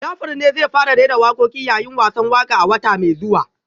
Jafar ne zai fara rera wakoki yayin wasan waka a wata mai zuwa